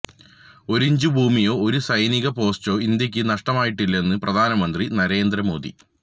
ഒരിഞ്ച് ഭൂമിയോ ഒരു സൈനിക പോസ്റ്റോ ഇന്ത്യക്ക് നഷ്ടമായിട്ടില്ലെന്ന് പ്രധാനമന്ത്രി നരേന്ദ്രമോദി